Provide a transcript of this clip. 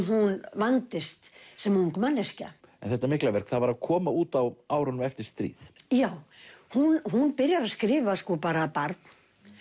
hún vandist sem ung manneskja en þetta mikla verk var að koma út á árunum eftir stríð já hún hún byrjar að skrifa bara barn